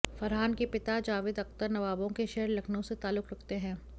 फरहान के पिता जावेद अख्तर नवाबों के शहर लखनऊ से तालुल्क रखते हैं